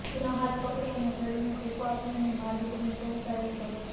તેનો હાથ પકડીને અને શરીરને ટેકો આપીને મારે તેને પહોંચાડવી પડી